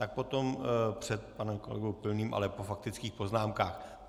Tak potom před panem kolegou Pilným, ale po faktických poznámkách.